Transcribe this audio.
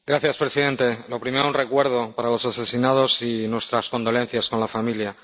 Señor presidente. Lo primero, un recuerdo para los asesinados y nuestras condolencias a la familia.